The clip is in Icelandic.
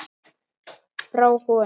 Frá honum!